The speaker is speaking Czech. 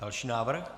Další návrh.